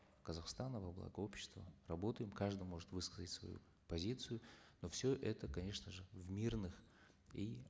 казахстана во благо общества работаем каждый может высказать свою позицию но все это конечно же в мирных и